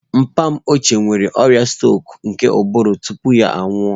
Papa m ochie nwere ọrịa strok nke ụbụrụ tupu ya anwụọ